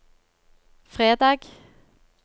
fredag